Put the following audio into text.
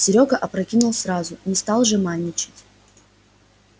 серёга опрокинул сразу не стал жеманничать